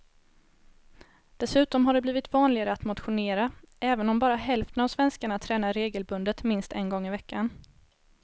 Dessutom har det blivit vanligare att motionera, även om bara hälften av svenskarna tränar regelbundet minst en gång i veckan.